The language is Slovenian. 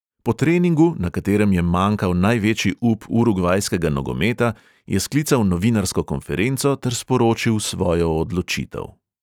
Po treningu, na katerem je manjkal največji up urugvajskega nogometa, je sklical novinarsko konferenco ter sporočil svojo odločitev.